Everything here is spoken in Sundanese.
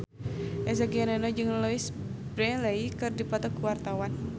Eza Gionino jeung Louise Brealey keur dipoto ku wartawan